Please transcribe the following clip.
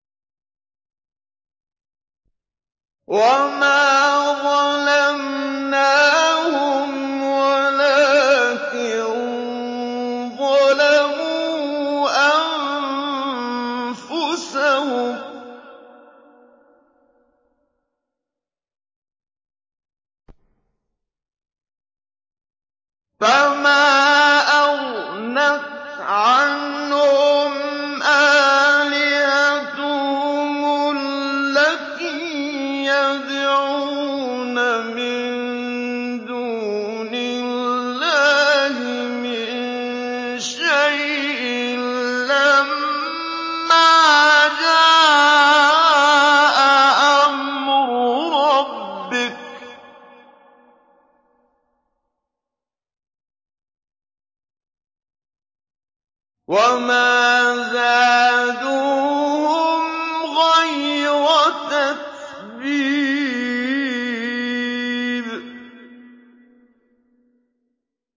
وَمَا ظَلَمْنَاهُمْ وَلَٰكِن ظَلَمُوا أَنفُسَهُمْ ۖ فَمَا أَغْنَتْ عَنْهُمْ آلِهَتُهُمُ الَّتِي يَدْعُونَ مِن دُونِ اللَّهِ مِن شَيْءٍ لَّمَّا جَاءَ أَمْرُ رَبِّكَ ۖ وَمَا زَادُوهُمْ غَيْرَ تَتْبِيبٍ